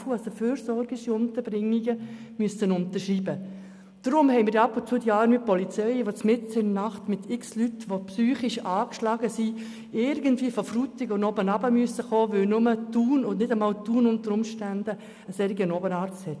Deshalb muss teilweise die Polizei mitten in der Nacht mit psychisch angeschlagenen Leuten beispielsweise von Frutigen in die Stadt kommen, da nur Thun einen solchen Oberarzt hat.